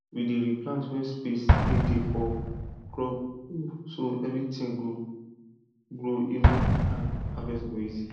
we dey replant where space dey dey for crop row so everything go grow even and harvest go easy